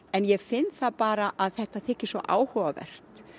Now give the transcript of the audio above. en ég finn það bara að þetta þykir svo áhugavert